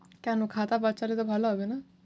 কেন? খাতা বাঁচালে তো ভালো হবে না?